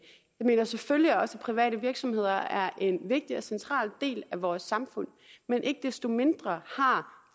jeg mener selvfølgelig også at private virksomheder er en vigtig og central del af vores samfund men ikke desto mindre har